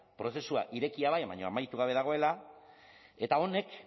prozesua irekia bai baina amaitu gabe dagoela eta honek